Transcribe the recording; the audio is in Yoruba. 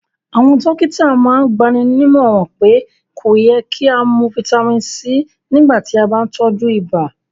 Àwọn dọ̀kìtà màn n gbànímọ̀ràn pé kò yẹ̀ kí a mú fítamì C nígbà tí a bá n tọju ìbà